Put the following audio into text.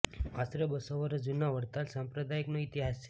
આશરે બસ્સો વર્ષ જૂનો વડતાલ સંપ્રદાયનો ઇતિહાસ છે